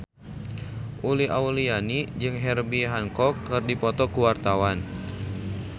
Uli Auliani jeung Herbie Hancock keur dipoto ku wartawan